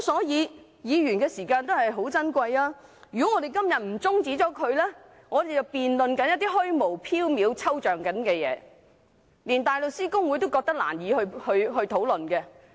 議員的時間也很寶貴，如果我們今天不中止辯論，就得辯論一些虛無縹緲、抽象的事情，連大律師公會都覺得難以討論。